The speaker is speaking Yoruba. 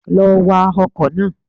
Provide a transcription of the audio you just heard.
Lọ wa ọkọ̀ náà